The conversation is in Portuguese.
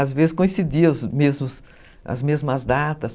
Às vezes coincidia as mesmas as mesmas datas.